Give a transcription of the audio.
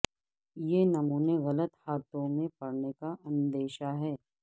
یہ نمونے غلط ہاتھوں میں پڑنے کا اندیشہ ہے